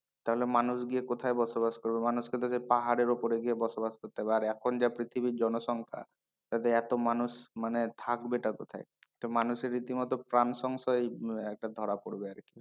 তাহলে মানুষ গিয়ে কোথায় বসবাস করবে মানুষকে তো সেই পাহাড়ের উপরে গিয়ে বসবাস করতে হবে আর এখন যা পৃথিবীর জনসংখ্যা তাতে এত মানুষ মানে থাকবে তা কোথায় তো মানুষের রীতিমতো প্রাণ সংশয় একটা ধরা পড়বে আর কি,